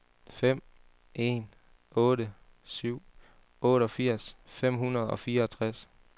fem en otte syv otteogfirs fem hundrede og fireogtres